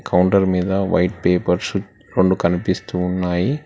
Counter మీద white papers రొండు కనిపిస్తూ ఉన్నాయి.